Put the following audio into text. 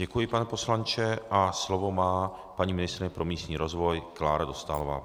Děkuji, pane poslanče, a slovo má paní ministryně pro místní rozvoj Klára Dostálová.